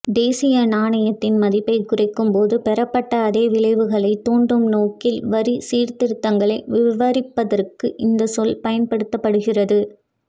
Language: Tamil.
தேசிய நாணயத்தின் மதிப்பைக் குறைக்கும்போது பெறப்பட்ட அதே விளைவுகளை தூண்டும் நோக்கில் வரி சீர்திருத்தங்களை விவரிப்பதற்கு இந்த சொல் பயன்படுத்தப்படுகிறது